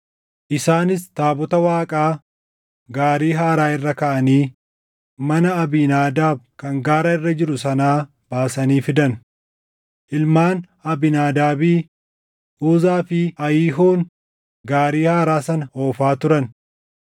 Isaanis taabota Waaqaa gaarii haaraa irra kaaʼanii mana Abiinaadaab kan gaara irra jiru sanaa baasanii fidan. Ilmaan Abiinaadaabii, Uzaa fi Ahiiyoon gaarii haaraa sana oofaa turan;